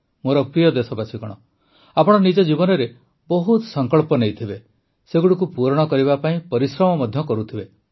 ମୋର ପ୍ରିୟ ଦେଶବାସୀଗଣ ଆପଣ ନିଜ ଜୀବନରେ ବହୁତ ସଂକଳ୍ପ ନେଇଥିବେ ସେଗୁଡ଼ିକୁ ପୂରଣ କରିବା ପାଇଁ ପରିଶ୍ରମ ମଧ୍ୟ କରୁଥିବେ